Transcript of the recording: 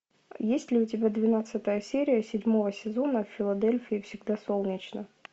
есть ли у тебя двенадцатая серия седьмого сезона в филадельфии всегда солнечно